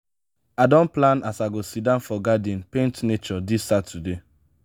i don plan as i go siddon for garden paint nature dis saturday.